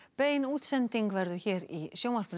bein útsending verður hér í sjónvarpinu